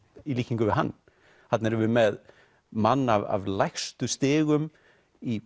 í líkingu við hann þarna erum við með mann af lægstu stigum í